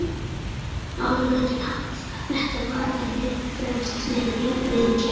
Norðurlöndin hafa hvað þetta varðar verið fremst meðal jafningja.